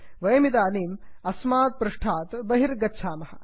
वयमिदानीम् अस्मात् पृष्टात् बहिरागच्छामः